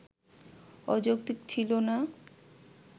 অযৌক্তিক ছিলো না